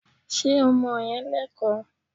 Ṣé ọmọ yẹn Lẹ́kọ̀ọ́?